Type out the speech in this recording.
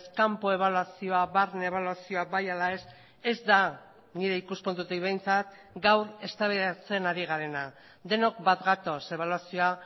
kanpo ebaluazioa barne ebaluazioa bai ala ez ez da nire ikuspuntutik behintzat gaur eztabaidatzen ari garena denok bat gatoz ebaluazioa